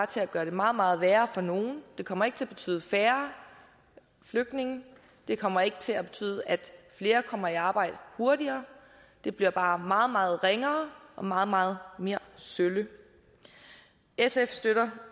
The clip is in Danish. til at gøre det meget meget værre for nogle det kommer ikke til at betyde færre flygtninge det kommer ikke til at betyde at flere kommer i arbejde hurtigere det bliver bare meget meget ringere og meget meget mere sølle sf støtter